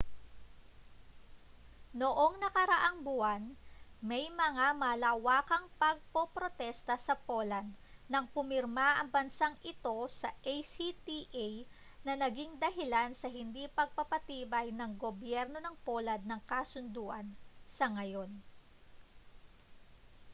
noong nakaraang buwan may mga malawakang pagpoprotesta sa poland nang pumirma ang bansang ito sa acta na naging dahilan sa hindi pagpapatibay ng gobyerno ng poland ng kasunduan sa ngayon